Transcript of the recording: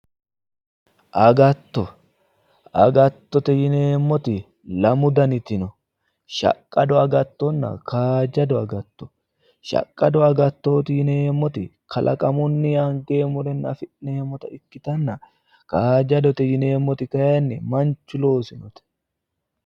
Agatto, agattote yineemmoti lamu dani agatto no shaqqado agattonna kaajjado agatto no, shaqqado agattoti yineemmoti kalaqamunni angeemmot afi'nemmota ikkitanna kaajjadote yineemmoti kayiinni manchu looseete